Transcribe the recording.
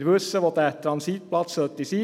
Wir wissen, wo der Transitplatz sein sollte;